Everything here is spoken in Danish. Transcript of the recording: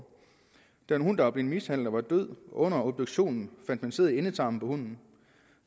der en hund der var blevet mishandlet og var død og under obduktionen fandt man sæd i endetarmen på hunden